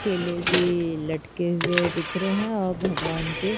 केले भी लटके हुए दिख रहे हैं और भगवान के --